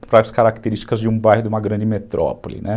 para as características de um bairro de uma grande metrópole, né.